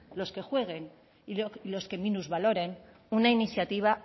los que jueguen y los que minusvaloren una iniciativa